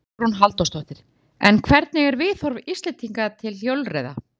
Hugrún Halldórsdóttir: En hvernig er viðhorf Íslendinga til hjólreiða?